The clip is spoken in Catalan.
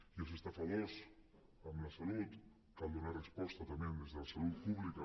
i als estafadors amb la salut cal donar los resposta també des de la salut pública